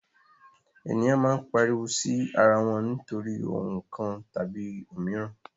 Eniyan maa n pariwo si ara wọn nitori ohun kan tabi omiran